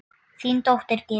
Þín dóttir, Gyða.